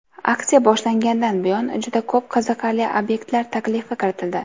Aksiya boshlangandan buyon juda ko‘p qiziqarli obyektlar taklifi kiritildi.